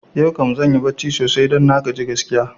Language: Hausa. Yau kam zanyi barci sosai don na gaji gaskiya